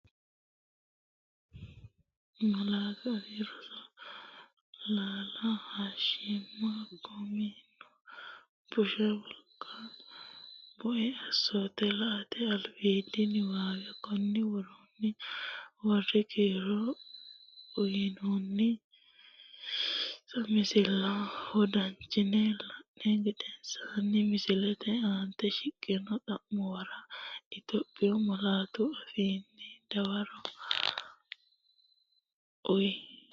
Malaatu Afii Roso laala hoshooshama Kuusamino bushsha Wolqate bue Assoote La”ate albiidi niwaawe Konni woroonni woroonni kiiro uyinoonninsa misilla wodanchitine lai’ni gedensaanni misilete aante shiqqino xa’muwara Itophiyu malaatu afiinni dawaro uuyye.